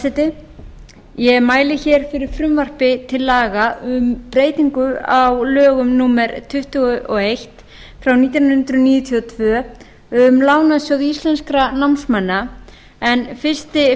frú forseti ég mæli fyrir frumvarpi til laga um breytingu á lögum númer tuttugu og eitt nítján hundruð níutíu og tvö um lánasjóð íslenskra námsmanna en fyrsti